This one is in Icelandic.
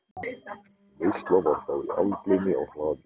Veisla var þá í algleymi á hlaði.